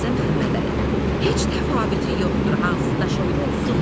Heç təfavüti yoxdur, hansı daş olur olsun.